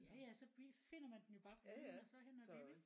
Jaja så finder man den jo bare på hylden og så hen og bib ikke?